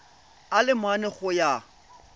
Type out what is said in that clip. a le mane go ya